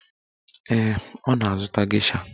Ee, ọ na-azụta gesha.